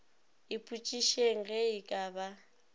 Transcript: ipotšišeng ge e ka ba